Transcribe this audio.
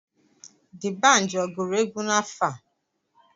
Dibanji ọ gụrụ egwu afọ a?